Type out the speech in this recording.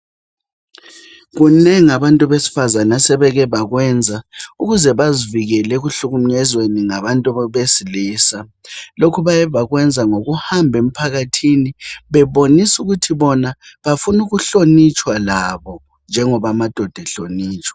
Kunengi abesifazane asebeke bakwenza ukuze bazivikele ekuhlukumezweni ngabantu besilisa. Lokhu bake bakwenza ngokuhamba emphakathini bebonisa ukuthi bona bafuna ukuhlonitshwa labo njengoba amadoda ehlonitshwa.